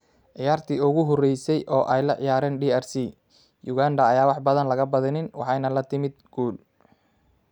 Ciyaartii ugu horeysay oo ay la ciyaareen DRC, Uganda ayaan wax badan laga badinin, waxayna la timid guul.